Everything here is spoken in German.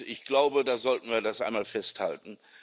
Ich glaube, das sollten wir einmal festhalten.